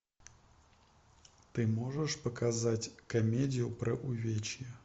ты можешь показать комедию про увечья